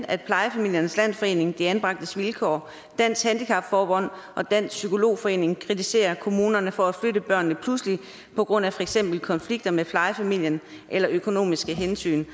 at plejefamiliernes landsforening de anbragtes vilkår dansk handicap forbund og dansk psykolog forening kritiserer kommunerne for at flytte børnene pludselig på grund af for eksempel konflikter med plejefamilien eller økonomiske hensyn